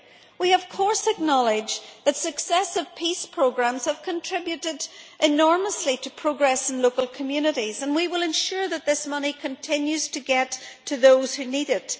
We of course acknowledge that successive peace programmes have contributed enormously to progress in local communities and we will ensure that this money continues to get to those who need it.